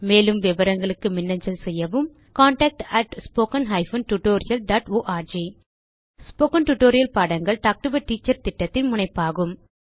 மேலும் விவரங்களுக்கு மின்னஞ்சல் செய்யவும் contactspoken tutorialorg ஸ்போகன் டுடோரியல் பாடங்கள் டாக் டு எ டீச்சர் திட்டத்தின் முனைப்பாகும்